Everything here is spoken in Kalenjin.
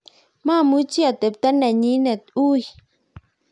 mamuchi atebto nenyine ui